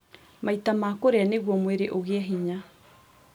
Maita ma kũrĩa nĩguo mwĩrĩ ũgie hinya